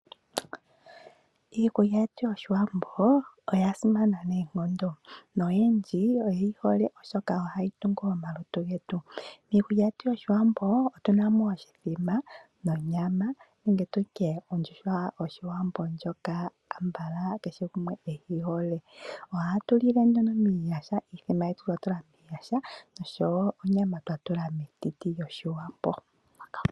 Iikulya yetu yOshiwambo oya simana noonkondo noyendji oye yi hole, oshoka ohayi tungu omalutu getu. Miikulya yOshiwambo otu na mo oshithima, ondjuhwa yOshiwambo ndjoka kehe gumwe konyala e yi hole. Ohatu lile nduno momalilo, iithima yetu twa tula momalilo noshowo onyama twa tula metiti lyOshiwambo.